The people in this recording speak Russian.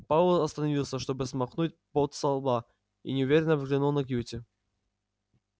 пауэлл остановился чтобы смахнуть пот со лба и неуверенно взглянул на кьюти